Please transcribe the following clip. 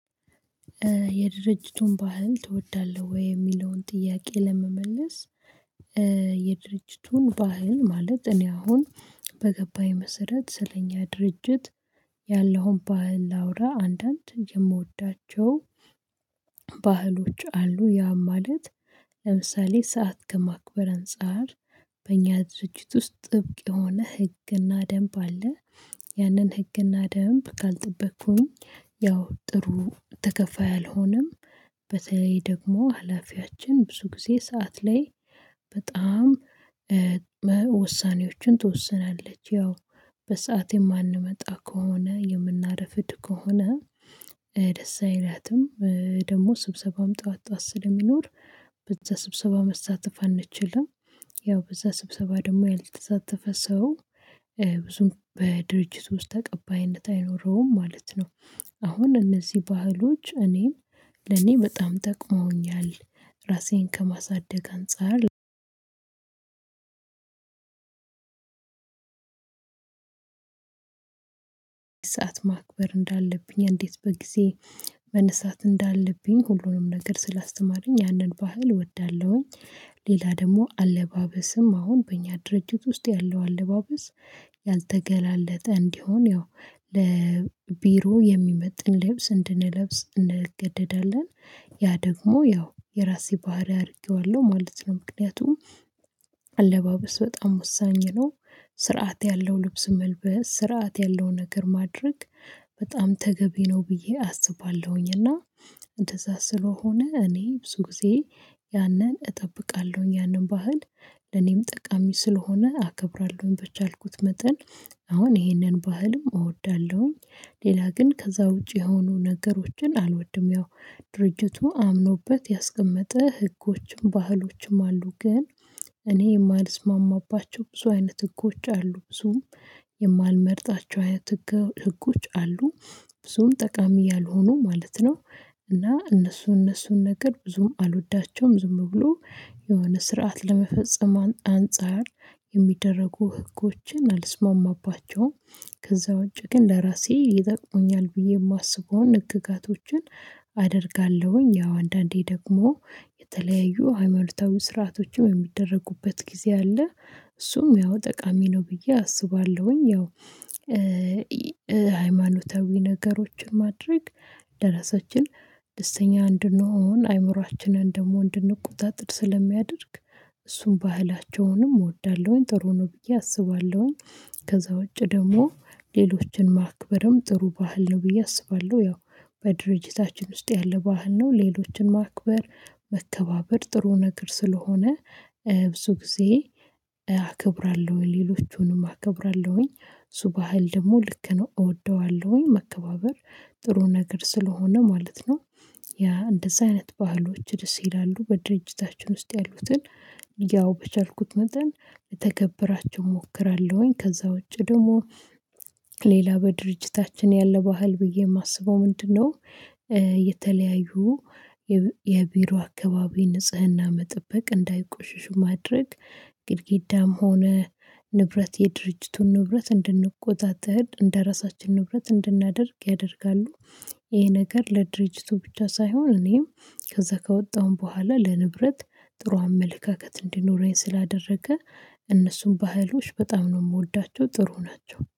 የድርጅቱን ባህል ትወዳለህ ወይ? የሚለውን ጥያቄ ለመመለስ የድርጅቱን ባህል ማለት እኔ አሁን በገባኝ መሰረት ስለኛ ድርጅት ያለውን ባህል ላውራ አንዳንድ የምወዳቸው ባህሎች አሉ ያ ማለት ለምሳሌ ሰዓት ከማክበር አንፃር በእኛ ድርጅት ውስጥ ጥብቅ የሆነ ህግና ደንብ አለ ያንን ህግና ደንብ ካልጠበቅኩኝ ያው ጥሩ ተከፋይ አልሆንም። በተለይ ደግሞ ሀላፊያችን ብዙ ጊዜ ሰዓት ላይ በጣም ውሳኔዎችን ትወስናለች ያው በሰአት የማንመጣ ከሆነ የምናረፍድ ከሆነ ደስ አይላትም ደግሞ ስብሰባም ጠዋት ጠዋት ስለሚኖር በዛ ስብሰባ መሳተፍ አንችልም ያው በዛ ስብሰባ ደግሞ ያልተሳተፈ ሰው ብዙም በድርጅቱ ውስጥ ተቀባይነት አይኖረውም ማለት ነው። አሁን እነዚህ ባህሎች እኔን ለኔ በጣም ጠቅመውኛል ራሴን ከማሳደግ አንፃር ሰዓት ማክበር እንዳለብኝ እንዴት በጊዜ መነሳት እንዳለብኝ ሁሉንም ነገር ስላስተማረኝ ያንን ባህል እወዳለሁኝ። ሌላ ደግሞ አለባበስም አሁን በእኛ ድርጅት ውስጥ ያለው አለባበስ ያልተገላለጠ እንዲሆን ያው ለቢሮ የሚመጥን ልብስ እንድንለብስ እንገደዳለን ያ ደግሞ ያው የራሴ ባህሪ አድርጌዋለሁ ማለት ነው። ምክንያቱም አለባበስ በጣም ወሳኝ ነው ስርዓት ያለው ልብስ መልበስ ስርዓት ያለው ነገር ማድረግ በጣም ተገቢ ነው ብዬ አስባለሁኝ። እና እንደዛ ስለሆነ እኔ ብዙ ጊዜ ያንን እጠብቃለሁኝ ያንን ባህል ለኔም ጠቃሚ ስለሆነ አከብራለሁኝ። በቻልኩት መጠን አሁን ይህንን ባህልም እወዳለሁኝ። ሌላ ግን ከዛ ውጪ የሆኑ ነገሮችን አልወድም ያው ድርጅቱ አምኖበት ያስቀመጠ ህጎችም ባህሎችም አሉ ግን እኔ የማልስማማባቸው ብዙ አይነት ህጎች አሉ ብዙም የማልመርጣቸው አይነት ህጎች አሉ ብዙም ጠቃሚ ያልሆኑ ማለት ነው። እና እነሱ እነሱን ነገር ብዙም አልወዳቸውም ዝም ብሎ የሆነ ስርዓት ለመፈጸም አንፃር የሚደረጉ ህጎችን አልስማማባቸውም። ከዛ ውጪ ግን ለራሴ ይጠቅሙኛል ብዬ የማስበውን ህግጋቶችን አደርጋለሁኝ። ያው አንዳንዴ ደግሞ የተለያዩ ሃይማኖታዊ ስርዓቶችም የሚደረጉበት ጊዜ አለ እሱም ያው ጠቃሚ ነው ብዬ አስባለሁኝ ያው ሃይማኖታዊ ነገሮችን ማድረግ ለራሳችን ደስተኛ እንድንሆን አይምሮአችንን ደግሞ እንድንቆጣጥር ስለሚያደርግ እሱን ባህላቸውንም እወዳለሁኝ ጥሩ ነው ብዬ አስባለሁኝ። ከዛ ውጪ ደግሞ ሌሎችን ማክበርም ጥሩ ባህል ነው ብዬ አስባለሁ። ያው በድርጅታችን ውስጥ ያለ ባህል ነው ሌሎችን ማክበር መከባበር ጥሩ ነገር ስለሆነ ብዙ ጊዜ አከብራለሁ ሌሎቹንም አከብራለሁኝ እሱ ባህል ደግሞ ልክ ነው እወደዋለሁኝ መከባበር ጥሩ ነገር ስለሆነ ማለት ነው። ያ እንደዛ አይነት ባህሎች ደስ ይላሉ በድርጅታችን ውስጥ ያሉትን ያው በቻልኩት መጠን ልተገብራቸው እሞክራለሁኝ። ከዛ ውጪ ደግሞ ሌላ በድርጅታችን ያለ ባህል ብዬ የማስበው ምንድነው? የተለያዩ የቢሮ አካባቢ ንጽህና መጠበቅ እንዳይቆሽሽ ማድረግ ግድግዳም ሆነ ንብረት የድርጅቱን ንብረት እንድንቆጣጠር እንደራሳችን ንብረት እንድናደርግ ያደርጋሉ። ይሄ ነገር ለድርጅቱ ብቻ ሳይሆን እኔም ከዛ ከወጣሁም በኋላ ለንብረት ጥሩ አመለካከት እንዲኖረኝ ስላደረገ እነሱም ባህሎች በጣም ነው የምወዳቸው። ጥሩ ናቸው